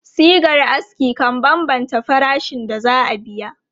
Shigar aski kan bambanta farashin da za a biya.